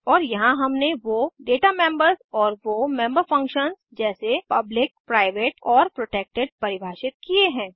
और यहाँ हमने वो डेटा मेम्बर्स और वो मेंबर फंक्शन्स जैसे पब्लिक प्राइवेट और प्रोटेक्टेड परिभाषित किये हैं